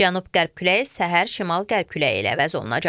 Cənub-qərb küləyi səhər şimal-qərb küləyi ilə əvəz olunacaq.